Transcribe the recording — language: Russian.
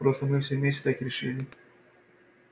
просто мы все вместе так решили